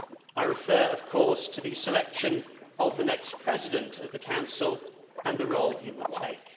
I refer, of course, to the selection of the next President of the Council and the role he will take.